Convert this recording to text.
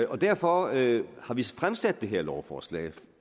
og derfor derfor har vi fremsat det her lovforslag altså